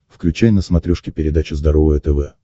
включай на смотрешке передачу здоровое тв